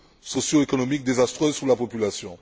socioéconomiques désastreuses pour la population.